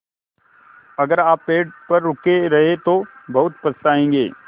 अगर आप पेड़ पर रुके रहे तो बहुत पछताएँगे